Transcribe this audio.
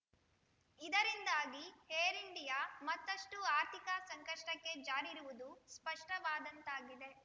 ಇದರಿಂದಾಗಿ Air India ಮತ್ತಷ್ಟು ಆರ್ಥಿಕ ಸಂಕಷ್ಟಕ್ಕೆ ಜಾರಿರುವುದು ಸ್ಪಷ್ಟವಾದಂತಾಗಿದೆ